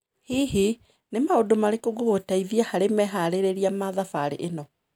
Hihi, nĩ maũndũ marĩkũ ngũgũteithia harĩ meharĩrĩria ma thabarĩ ĩno?